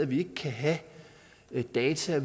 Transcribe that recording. vi ikke kan have alle data